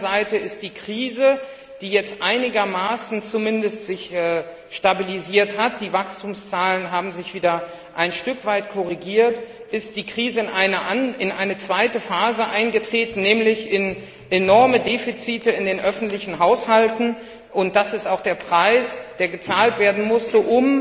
Auf der anderen Seite ist die Krise, die sich jetzt einigermaßen stabilisiert hat die Wachstumszahlen haben sich wieder ein Stück weit korrigiert in eine zweite Phase eingetreten, nämlich enorme Defizite in den öffentlichen Haushalten, und das ist auch der Preis, der gezahlt werden musste,